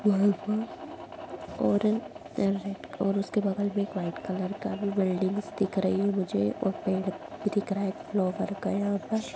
बहुत ब और र है और उसके बगल में एक वाइट कलर का भी बिल्डिंग्स दिख रही है मुझे और पेड़ दिख रहा हैं। फ्लॉवर का यहाँ पर--